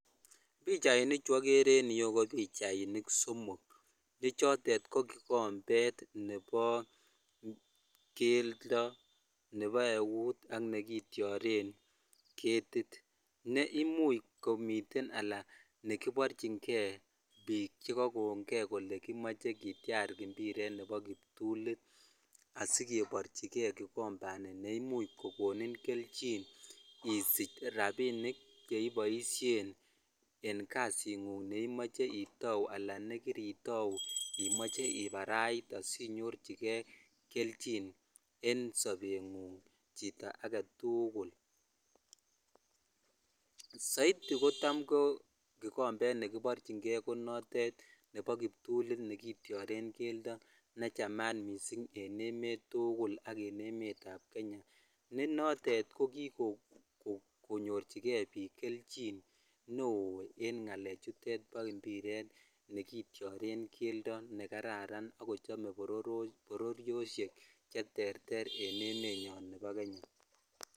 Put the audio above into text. Pichainik chu okere en ireyu ko pichainik somok che choten ko kikombet nebo keldo, nebo eut ak nekityoren ketit, ne imuch komiten anan nekiborchinge biik chekakongei kole kimoche kityar mpiret nebo kiptulit asikeborchigei kikombani neimuch kokonin kelchin isich rapinik en kasit ng'ung neimoche itou anan nekiri itou imoche ibarait sinyorchigei kelchin en sobeng'ung' chito agetugul ,soiti kotam ko kikombet nekiborchingei konotet nebo kiptulit nekityoren keldo nechamat missing en emet tugul anan ko emet ab Kenya ne noton kokikonyorchigei biik kelchin neo en ng'alek chutet bo mpiret nekityoren keldo nekararan akochome bororosiek cheterter en emenyon nebo Kenya.